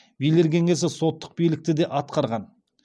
билер кеңесі соттық билікті де атқарған